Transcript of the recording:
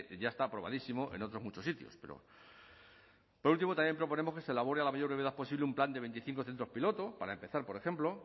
ya está aprobadísimo en otros muchos sitios pero por último también proponemos que se elabore a la mayor brevedad posible un plan de veinticinco centros piloto para empezar por ejemplo